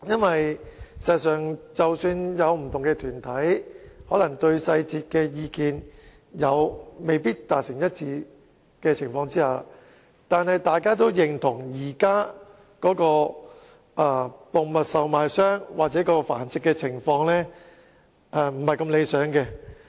事實上，不同團體即使在細節上可能意見未能一致，但都認同現時動物售賣商或動物繁殖的情況並不理想。